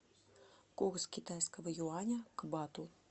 курс китайского юаня к бату